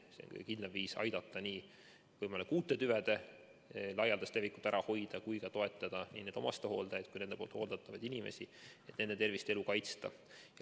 See on kõige kindlam viis aidata nii võimalike uute tüvede laialdast levikut ära hoida kui ka toetada omastehooldajaid ja nende hooldatavaid inimesi, et nende tervist ja elu kaitsta.